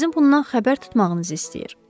Sizin bundan xəbər tutmağınızı istəyir.